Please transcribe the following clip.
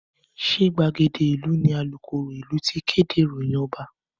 Ṣé gbàgede ìlú ni alukoro ìlú ti kéde ìròyìn Ọba?